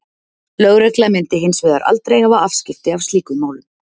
Lögregla myndi hins vegar aldrei hafa afskipti af slíkum málum.